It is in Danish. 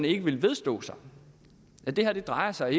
ikke vedstå at det her ikke drejer sig